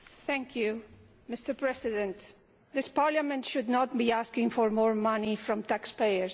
Mr President, this Parliament should not be asking for more money from taxpayers, but less.